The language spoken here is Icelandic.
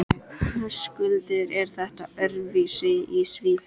Höskuldur: Er þetta öðruvísi í Svíþjóð?